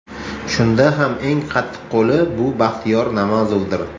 Shunda ham eng qattiqqo‘li bu Baxtiyor Namozovdir.